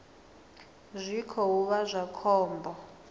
zwi khou vha zwa khombo